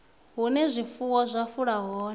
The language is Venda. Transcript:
hune zwifuwo zwa fula hone